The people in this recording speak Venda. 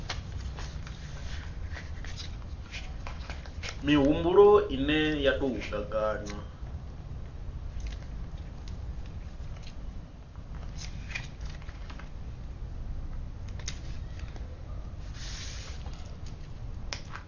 mihumbulo ine ya tou gaganywa